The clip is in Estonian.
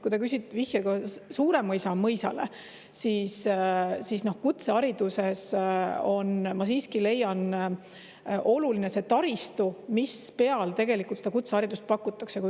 Kui te küsisite vihjega Suuremõisa mõisale, siis kutsehariduses on, ma siiski leian, oluline see taristu, mille peal seda haridust pakutakse.